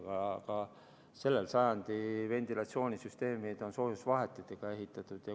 Aga selle sajandi ventilatsioonisüsteemid on soojusvahetiga ehitatud.